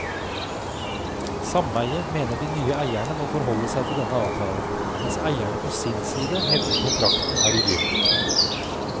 Sameiet mener de nye eierne må forholde seg til denne avtalen, mens eierne på sin side hevder kontrakten er ugyldig.